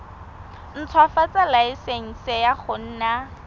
ntshwafatsa laesense ya go nna